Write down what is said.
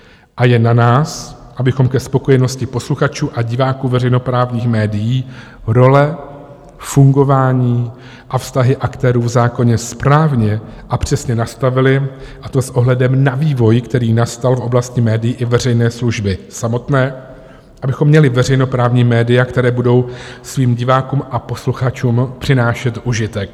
A je na nás, abychom ke spokojenosti posluchačů a diváků veřejnoprávních médií role, fungování a vztahy aktérů v zákoně správně a přesně nastavili, a to s ohledem na vývoj, který nastal v oblasti médií i veřejné služby samotné, abychom měli veřejnoprávní média, která budou svým divákům a posluchačům přinášet užitek.